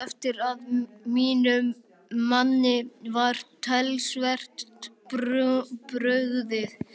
Ég tók eftir að mínum manni var talsvert brugðið.